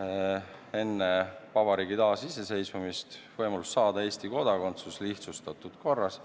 enne vabariigi taasiseseisvumist, võimalus saada Eesti kodakondsus lihtsustatud korras.